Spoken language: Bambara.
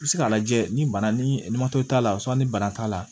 I bɛ se k'a lajɛ ni bana ni t'a la ni bana t'a la